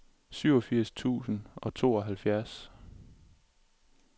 syvogfirs tusind og tooghalvfjerds